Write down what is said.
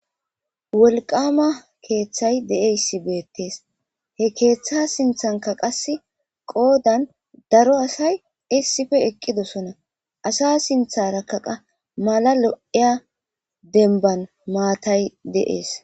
Wolqama keeththay de'eyssi beettees he keeththa sinthanka qas qoodan daro asay issife eqqidosona asa sintharakkaqa mala lo7eya denban maatay de7ees.